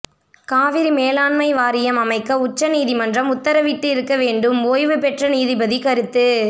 காவிரி மேலாண்மை வாரியம் அமைக்க உச்ச நீதிமன்றம் உத்தரவிட்டு இருக்க வேண்டும் ஓய்வு பெற்ற நீதிபதி கருத்து